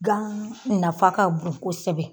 Gan nafa ka bon kosɛbɛ